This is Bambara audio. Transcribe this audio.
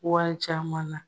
Wari caman na.